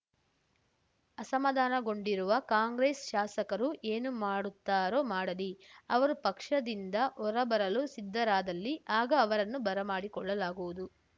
ಅಸಮಾಧಾನಗೊಂಡಿರುವ ಕಾಂಗ್ರೆಸ್‌ ಶಾಸಕರು ಏನು ಮಾಡುತ್ತಾರೋ ಮಾಡಲಿ ಅವರು ಪಕ್ಷದಿಂದ ಹೊರಬರಲು ಸಿದ್ಧರಾದಲ್ಲಿ ಆಗ ಅವರನ್ನು ಬರಮಾಡಿಕೊಳ್ಳಲಾಗುವುದು